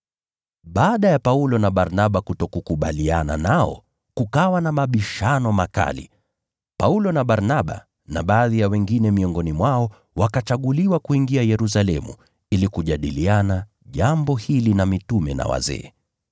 Baada ya Paulo na Barnaba kutokubaliana nao kukawa na mabishano makali, Paulo na Barnaba na baadhi ya wengine miongoni mwao wakachaguliwa kwenda Yerusalemu ili kujadiliana jambo hili na mitume na wazee.